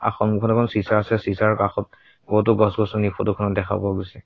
সন্মুখত এখন চিচা আছে চিচাৰ কাষত বহুতো গছ-গাছনি ফটো খনত দেখা পোৱা গৈছে।